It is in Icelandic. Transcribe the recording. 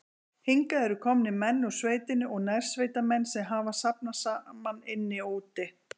Hingað eru komnir menn úr sveitinni og nærsveitamenn, sem hafa safnast saman inni og úti.